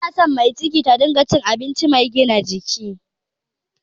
Ana son mai ciki suna cikin abinci mai gina jiki